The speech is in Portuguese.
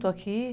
Estou aqui.